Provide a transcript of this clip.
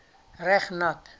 reg nat